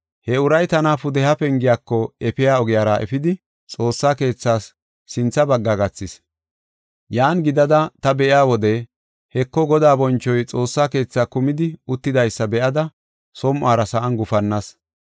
He uray tana pudeha pengiyako efiya ogiyara efidi, Xoossa keethas sintha bagga gathis. Yan gidada ta be7iya wode, Heko, Godaa bonchoy Xoossa keethaa kumidi uttidaysa be7ada som7ora sa7an gufannas.